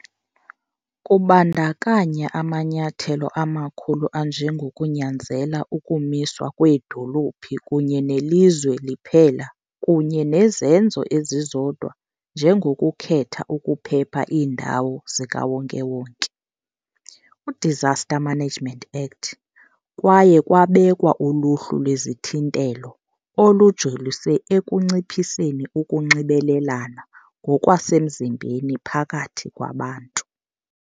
Kubandakanya amanyathelo amakhulu anjengokunyanzela ukumiswa kweedolophu kunye nelizwe liphela kunye nezenzo ezizodwa njengokukhetha ukuphepha iindawo zikawonke-wonke. UDisaster Management Act, kwaye kwabekwa uluhlu lwezithintelo, olujolise ekunciphiseni ukunxibelelana ngokwasemzimbeni phakathi kwabantu.